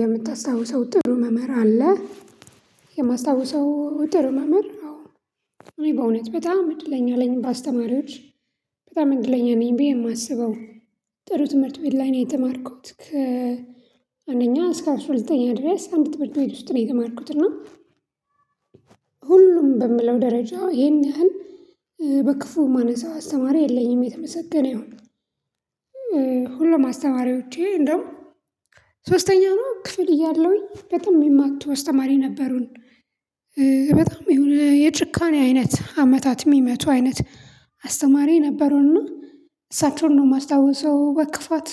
የምታስታውሰው ጥሩ መምህር አለ? የማስታውሰው ጥሩ መምህር አዎ። እኔ በእውነት በጣም እድለኛ ለኝ በአስተማሪዎች። በጣም እንድለኛ ነኝ ብዬ ነው የማስበው ጥሩ ትምህርት ቤት ላይ ነው የተማርኩት ከ አንደኛ እስከ አስራ ሁለተኛ ድረስ አንድ ትምህርት ቤት ውስጥ ነው የተማርኩት። እና ሁሉም በምለው ደረጃው ይሄን ያህል በክፉ ማነሳው አስተማሪ የለኝም የተመሰገነ ይሁን። ሁሉም አስተማሪዎቼ እንደውም ሶስተኛ ነው ክፍል እያለሁኝ በጣም የሚማቱ አስተማሪ ነበሩን። በጣም የሆነ የጭካኔ አይነት አመታት የሚመቱ አይነት አስተማሪ ነበሩና እና እሳቸውን ነው የማስታውሰው በክፋት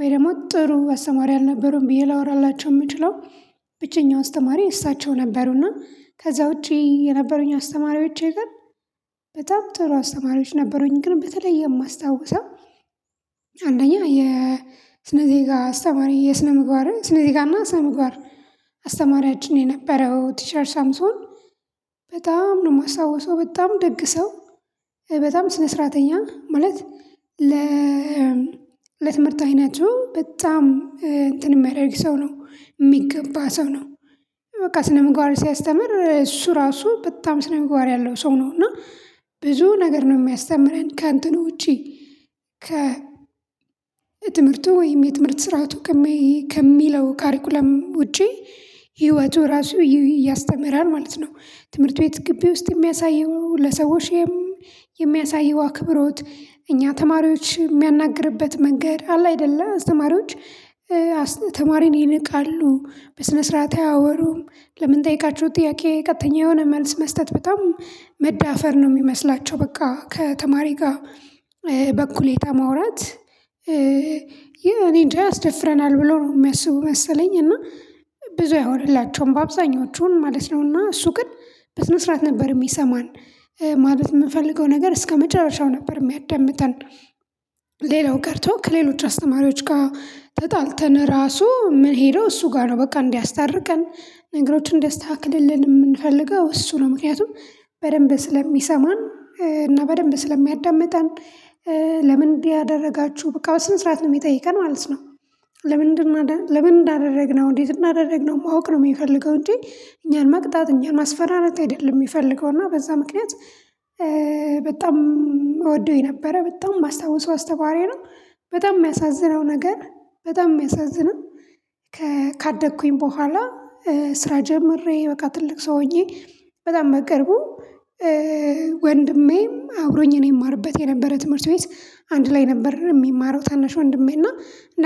ወይ ደግሞ ጥሩ አስተማሪ አልነበሩም ብዬ ላወራላቸው የምችለው ብቸኛው አስተማሪ እሳቸው ነበሩና። ከዛ ውጪ የነበሩኝ አስተማሪዎቼ ግን በጣም ጥሩ አስተማሪዎች ነበሩኝ ግን በተለየ የማስታውሰው አንደኛ የስነ ዜጋ አስተማሪ የስነ ምግባር ስነ ስነ ጋርና ስነ ምግባር አስተማሪያችን የነበረው ቲቸር ሳምሶን በጣም ነው የማስታውሰው። በጣም ደግ ሰው በጣም ስነ ስርዓተኛ ማለት ለ ለትምህርት አይነቱ በጣም እንትን የሚያደርግ ሰው ነው የሚገባ ሰው ነው። በቃ ስነ ምግባር ሲያስተምር እሱ ራሱ በጣም ስነምግባር ያለው ሰው ነው እና ብዙ ነገር ነው የሚያስተምረን ከእንትኑ ውጪ ከ ትምህርቱ ወይም የትምህርት ስርዓቱ ከሚለው ካሪኩለም ውጪ ህይወቱ ራሱ ያስተምራል ማለት ነው። ትምህርት ቤት ግቢ ውስጥ የሚያሳየው፣ ለሰዎችም የሚያሳየው አክብሮት እኛ ተማሪዎች የሚያናግርበት መንገድ አለ አይደለ አስማሪዎች አስ ተማሪን ይነቃሉ፣ በስነ ስርዓት አያወሩም፣ ለምንጠይቃችሁ ጥያቄ ቀጥተኛ የሆነ መልስ መስጠት በጣም መዳፈር ነው የሚመስላቸው በቃ ከተማሪ ጋር በኩሌታ ማውራት እኔ እንጃ ያስደፍረናል ብሎ ነው የሚያስቡ መሰለኝ እና ብዙ አይሆንላቸውም በአብዛኞቹ ማለት ነው ነውና። እሱ ግን በስነ ስርዓት ነበር የሚሰማን ማለት የምንፈልገው ነገር እስከመጨረሻው ነበር የሚያዳምጠን ሌላው ቀርቶ ከሌሎች አስተማሪዎች ጋር ተጣልተን ራሱ ምን ሄደው እሱ ጋር ነው በቃ እንዲያስታርቀን፣ ነገሮችን እንዲያስተካክልልን የምንፈልገው እሱ ነው። ምክንያቱም በደንብ ስለሚሰማን እና በደንብ ስለሚያዳምጠን ለምን እንዲህ ያደረጋችሁ በቃ በስነ ስርዓት ነው የሚጠይቀን ማለት ነው። ለምንድን አደ ለምን እንዳደረግነው እንዴት እናደረግነው ማወቅ ነው የሚፈልገው እንጂ እኛን መቅጣት፣ እኛን ማስፈራረት አይደለም የሚፈልገው። እና በዛ ምክንያት በጣም እወደውኝ ነበረ በጣም ባስታውሰው አስተማሪየ ነው። በጣም የሚያሳዝነው ነገር በጣም የሚያሳዝነው ካደኩኝ በኋላ ስራ ጀምሬ በቃ ትልቅ ሰው ሆኜ በጣም በቅርቡ ወንድሜም አብሮኝ የኔ እማርበት የነበረ ትምህርት ቤት አንድ ላይ ነበር የሚማረው ታናሽ ወንድሜና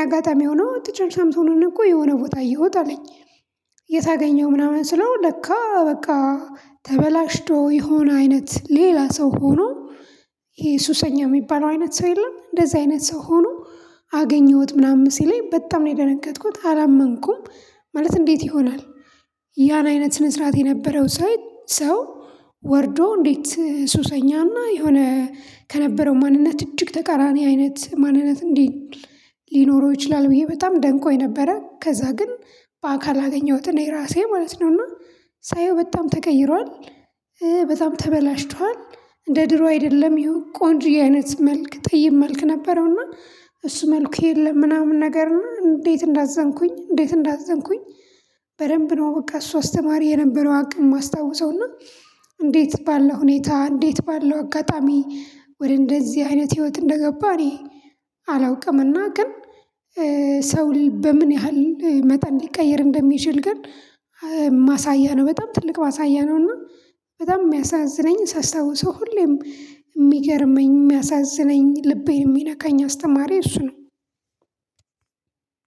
አጋጣሚ ሆኖ ቲቸር ሳምሶንን እኮ የሆነ ቦታ እየሁት አለኝ። የት አገኘኸው ምናምን ስለው ለካ በቃ ተበላሽቶ የሆነ አይነት ሌላ ሰው ሆኖ ይሄ ሱሰኛ የሚባለው አይነት ሰው የለም እንደዚህ አይነት ሰው ሆኖ አገኘሁት ምናምን ሲለኝ በጣም ነው የደነገጥኩት አላመንኩም። ማለት እንዴት ይሆናል ያን አይነት ስነስርዓት የነበረው ሳይ ሰው ወርዶ እንዴት ሱሰኛና የሆነ ማንነት እጅግ ተቃራኒ አይነት ማንነት እንዴ ሊኖረው ይችላል ብዬ በጣም ደንቆኝ ነበረ። ከዛ ግን በአካል አገኘሁት እኔ ራሴ ማለት ነው። እና ሳየው በጣም ተቀይሯል በጣም ተበላሽቷል እንደ ድሮ አይደለም ይሁ ቆንጅየ አይነት መልክ ጠይመልክ ነበረውና እሱ መልኩ የለም ምናምን ነገር እና እንዴት እንዳዘንኩኝ እንዴት እንዳዘንኩኝ በደንብ ነው በቃ እሱ አስተማሪ የነበረው አቅም የማስታውሰው እና እንዴት ባለው ሁኔታ፣ እንዴት ባለው አጋጣሚ ወደ እንደዚህ አይነት ህይወት እንደገባ እኔ አላውቅምና ግን ሰው በምን ያህል መጠን ሊቀየር እንደሚችል ግን ማሳያ ነው በጣም ትልቅ ባሳያነው። እና በጣም የሚያሳዝነኝ ሳስታውሰው ሁሌም የሚገርመኝ የሚያሳዝነኝ ልቤን የሚነካኝ አስተማሪ እሱ ነው።